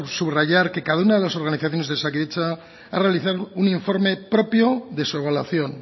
subrayar que cada una de las organizaciones de osakidetza ha realizado un informe propio de su evaluación